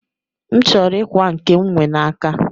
M chọrọ m ikwa nke m nwe n'aka